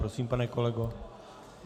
Prosím, pane kolego.